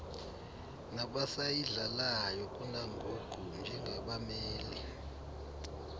nabasayidlalayo kunangoku njengabameli